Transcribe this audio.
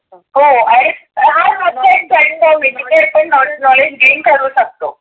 हो आणि एक side knowledge gain करुण टाकतो.